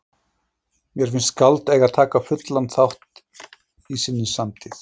Mér finnst skáld eiga að taka fullan þátt í sinni samtíð.